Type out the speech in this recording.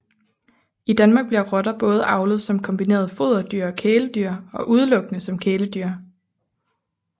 I Danmark bliver rotter både avlet som kombineret foderdyr og kæledyr og udelukkende som kæledyr